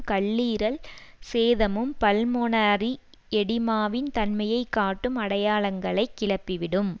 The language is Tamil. கல்லீரல் சேதமும் பல்மொனரி எடிமாவின் தன்மையை காட்டும் அடையாளங்களைக் கிளப்பிவிடும்